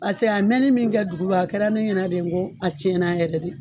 Paseke a mɛɛnni min kɛ dugura a kɛra ne ɲɛna de n ko a cɛna yɛrɛ de.